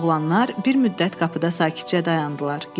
Oğlanlar bir müddət qapıda sakitcə dayandılar.